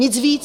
Nic víc.